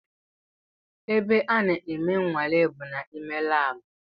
Ebe a na-eme nwale bụ n’ime labu